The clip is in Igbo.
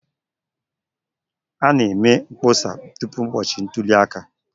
A na-eme mkpọsa tupu ụbọchị ntuli aka.